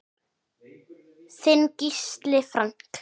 Þinn Gísli Frank.